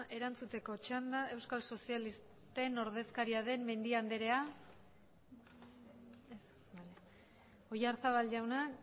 erantzuteko txanda euskal sozialisten ordezkaria den mendi anderea ez bale oyarzabal jauna